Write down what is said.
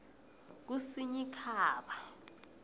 kusinyikhaba